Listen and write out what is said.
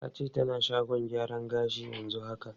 Ta ce tana shagon gyaran gashi yanzu haka.